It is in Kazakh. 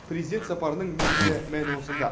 президент сапарының негізгі мәні осында